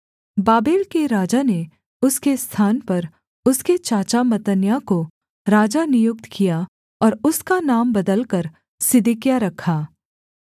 Babel के राजा ने उसके स्थान पर उसके चाचा मत्तन्याह को राजा नियुक्त किया और उसका नाम बदलकर सिदकिय्याह रखा